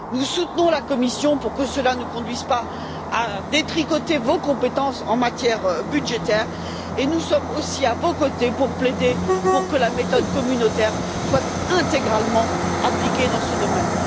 Nous soutenons la Commission pour que cela ne conduise pas à détricoter vos compétences en matière budgétaire et nous sommes aussi à vos côtés pour plaider pour que la méthode communautaire soit intégralement appliquée dans ce domaine.